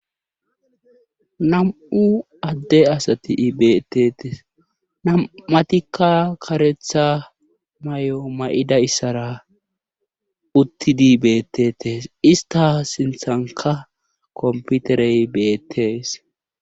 nam'u adde asati beetetees nam'atikka karetha mayo ma'idayissara uttidi beettetees ista sinthanka komputerey beettees